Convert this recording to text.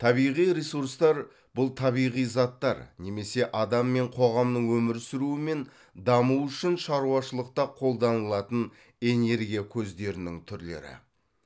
табиғи ресурстар бұл табиғи заттар немесе адам мен қоғамның өмір сүруі мен дамуы үшін шаруашылықта қолданылатын энергия көздерінің түрлері